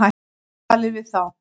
Talið við þá.